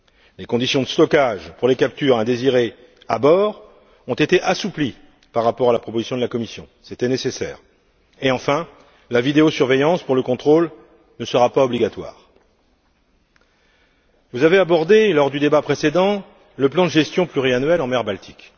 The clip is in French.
Les conditions de stockage pour les captures indésirées, à bord, ont été assouplies par rapport à la proposition de la Commission c'était nécessaire et, enfin, la vidéosurveillance pour le contrôle ne sera pas obligatoire. Vous avez abordé, lors du débat précédent, le plan de gestion pluriannuel en mer Baltique.